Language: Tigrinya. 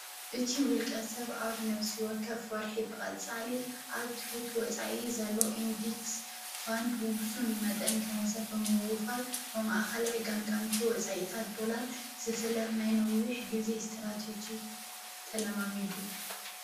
እቲ ውልቀ ሰብ ኣብ ነፍሲ ወከፍ ወርሒ ብቐፃሊ ኣብ ትሑት ወፃኢ ዘሎ ኢንዴክስ ፋንድ ውሰን መጠን ገንዘብ ብምውፋር ብማኣኸላይ ገምገምቲ ወፃእታት ዶላር ዝፍለጥ ናይ ነዊሕ ጊዜ ስተራተጅጂክ ተለማሚዱ፡፡